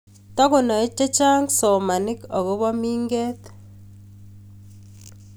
Takonae chechang somanik akobo mingeet